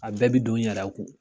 A bɛɛ bi don n yɛrɛ kun